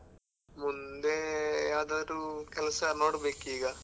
ಮುಂದೇ ಯಾವ್ದಾದ್ರು ಕೆಲ್ಸ ನೋಡ್ಬೇಕೀಗ .